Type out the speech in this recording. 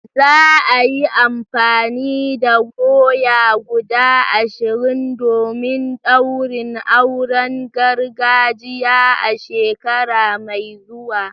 Za a yi amfani da doya guda ashirin domin daurin auren gargajiya a shekara mai zuwa.